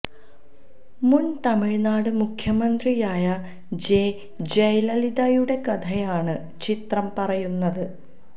മുന് തമിഴ്നാട് മുഖ്യമന്ത്രിയായ ജെ ജയലളിതയുടെ കഥയാണ് ചിത്രം പറയുന്നത്